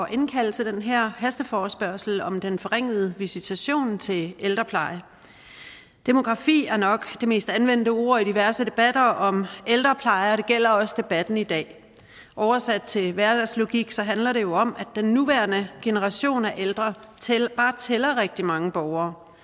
at indkalde til den her hasteforespørgsel om den forringede visitation til ældreplejen demografi er nok det mest anvendte ord i diverse debatter om ældrepleje og det gælder også debatten i dag oversat til hverdagslogik handler det jo om at den nuværende generation af ældre bare tæller rigtig mange borgere